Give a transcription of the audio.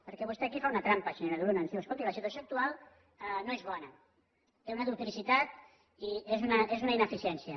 perquè vostè aquí fa una trampa senyora de luna ens diu escolti la situació actual no és bona té una duplicitat i és una ineficiència